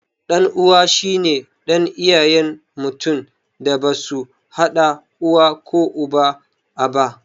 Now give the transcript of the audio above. Ɗan uwa shine ɗan iyayen mutum da basu haɗa uwa ko uba aba